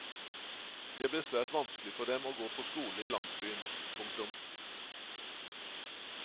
Det blir svært vanskelig for dem å gå på skole i landsbyen. punktum